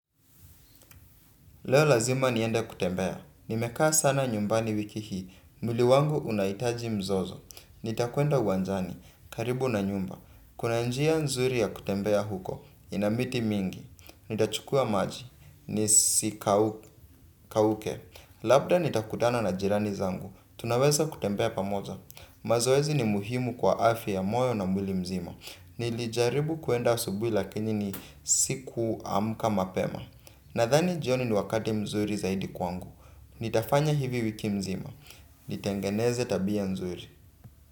Leo lazima niende kutembea. Nimekaa sana nyumbani wiki hii. Mwili wangu unahitaji mzozo. Nitakwenda uwanjani. Karibu na nyumba. Kuna njia nzuri ya kutembea huko. Inamiti mingi. Nitachukua maji. Nisi kauke. Labda nitakutana na jirani zangu. Tunaweza kutembea pamoja. Mazoezi ni muhimu kwa afya ya moyo na mwili mzima. Nilijaribu kuenda asubui lakini ni siku amka mapema. Na thani jioni ni wakati mzuri zaidi kwangu. Nitafanya hivi wiki mzima. Nitengeneze tabia nzuri.